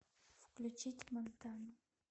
включить мантану